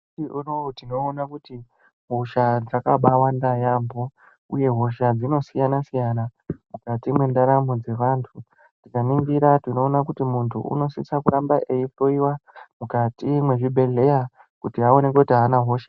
Nyamushi unoyu tinoona kuti hosha dzakabawanda yaamho uye hosha dzinosiyana-siyana mukati mwendaramo mukati mwendaramo dzevantu. Tikaringira tinoona kuti muntu unosise kuramba eihloyiwa mukati mechibhedhlera kuona kuti haana hosha here.